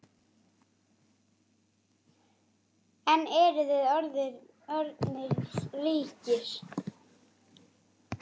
En eruð þið orðnir ríkir?